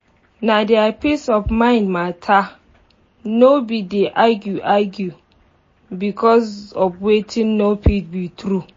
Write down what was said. na deir peace of mind matter nor be to dey argue argue becos of wetin nor fit be true